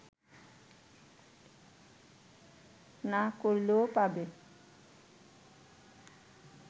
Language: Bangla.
না করলেও পাবে